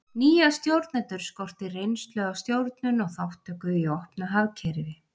Nýja stjórnendur skorti reynslu af stjórnun og þátttöku í opnu hagkerfi.